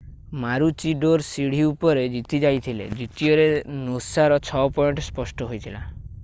ମାରୁଚିଡୋର ସିଢି ଉପରେ ଜିତିଯାଇଥିଲେ ଦ୍ଵିତୀୟରେ ନୋସାର 6 ପଏଣ୍ଟ ସ୍ପଷ୍ଟ ହୋଇଥିଲା